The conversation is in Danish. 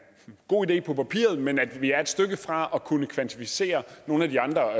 god idé på papiret men at vi er et stykke fra at kunne kvantificere nogle af de andre